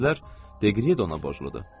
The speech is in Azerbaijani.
Ola bilər Deqrie də ona borcludur.